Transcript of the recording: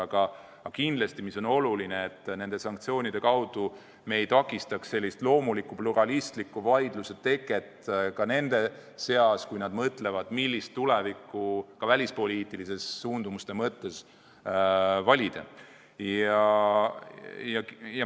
Aga kindlasti on oluline, et me nende sanktsioonidega ei takistaks sellise loomuliku pluralistliku vaidluse teket nende seas, kui nad mõtlevad, millist tulevikku ka välispoliitiliste suundumuste mõttes valida.